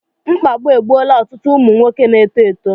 Mkpagbu egbuola otụtụ ụmụ nwoke n'eto eto